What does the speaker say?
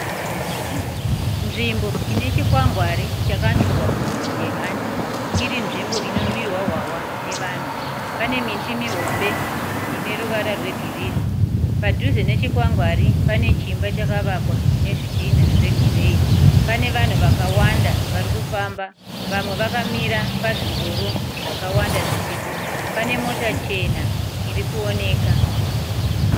Nzvimbo inechikwangwari chakanyorwa kunzi, The Hunter iri nzvimbo ino nwirwa hwahwa nevanhu. Pane miti mihombe ine ruvara rwe girinhi. Padhuze nechikwangwari pane chimba chakavakwa nezvidhinha zve gireyi. Pane vanhu vakawanda vari kufamba. Vamwe vakamira pazvingoro zvakawanda zviripo. Pane mota chena irikuoneka.